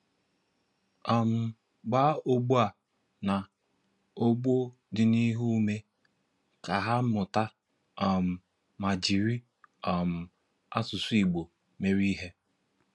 um Gbaá ọgbọ a na ọgbọ dịniihu ụmé, ka ha mụta um ma jiri um asụsụ Igbo mere ihe.